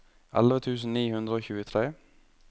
elleve tusen ni hundre og tjuetre